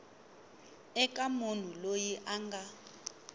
eka munhu loyi a nga